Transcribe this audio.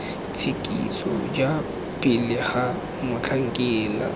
tshekiso ja pele ga motlhankela